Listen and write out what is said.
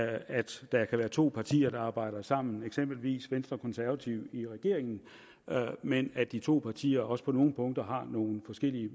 at der kan være to partier der arbejder sammen eksempelvis venstre og konservative i regeringen men at de to partier også på nogle punkter har nogle forskellige